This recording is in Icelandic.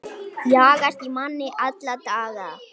Jagast í manni alla daga.